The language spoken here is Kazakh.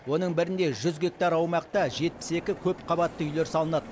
оның бірінде жүз гектар аумақта жетпіс екі көпқабатты үйлер салынады